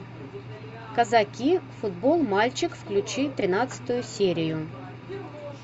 казаки футбол мальчик включи тринадцатую серию